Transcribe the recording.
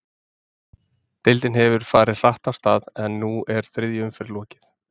Deildin hefur farið hratt af stað, en nú er þriðju umferð lokið.